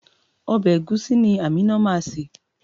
Ọbẹ̀ ẹ̀gúsí ni Amina máa ṣè.